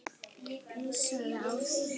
Pissaðu á þig.